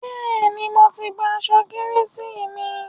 Bẹ́ẹ̀ni, mo ti gba aṣọ Kérésìmesì mi.